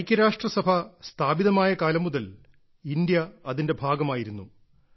ഐക്യരാഷ്ട്രസഭ സ്ഥാപിതമായ കാലം മുതൽ ഇന്ത്യ അതിന്റെ ഭാഗമായിരുന്നു